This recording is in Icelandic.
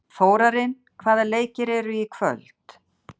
Þórarinn, hvaða leikir eru í kvöld?